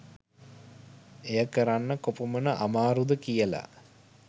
එය කරන්න කොපමණ අමාරුද කියලා.